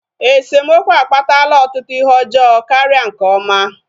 Esemokwu akpatala ọtụtụ ihe ọjọọ karịa nke ọma